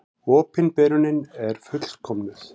Opinberunin er fullkomnuð.